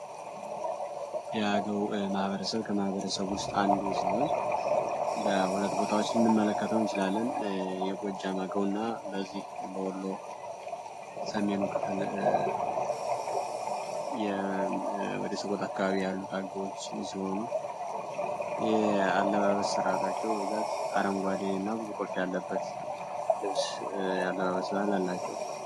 የአገው ማሕበረሰብ ከማህበረሰብ ውስጥ አንዱ ሲሆን በሁለት ቦታዎች ልንድመለከታው ይችላለን የጎጃ ማገው እና በዚህ በወሎ ሰሜኑ ክፍል ወደሰቆት አካባቢ ያሉትአገዎች የሲሆኑ ይህ አለባበስ ስርዓታቸው ብዛት አረንጓዴ እና ብዙ ኮልፍ ያለበት ልፍስ የአለባበስ አላቸው፡፡